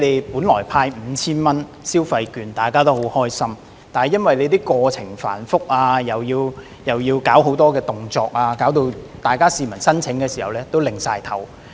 本來政府派發 5,000 元消費券，大家也感到很開心，但由於申請過程繁複，要求市民做很多動作，致令大家申請時也不禁搖頭。